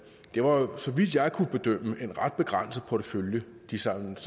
jo bare så vidt jeg kunne bedømme en ret begrænset portefølje de samlet